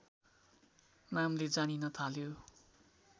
नामले जानिन थाल्यो